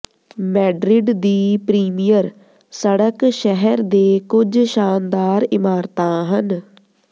Madrid ਦੀ premier ਸੜਕ ਸ਼ਹਿਰ ਦੇ ਕੁਝ ਸ਼ਾਨਦਾਰ ਇਮਾਰਤਾਂ ਹਨ